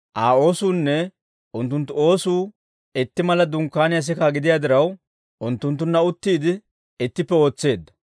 Aa oosuunne unttunttu oosuu itti mala dunkkaaniyaa sikaa gidiyaa diraw, unttunttunna uttiide, ittippe ootseedda.